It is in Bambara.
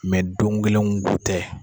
don kelen kow tɛ